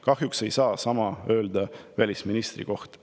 Kahjuks ei saa sama öelda välisministri kohta.